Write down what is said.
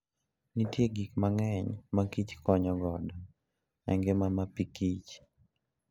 Nitie gik mang'eny ma kich konyo godo e ngima mapikich.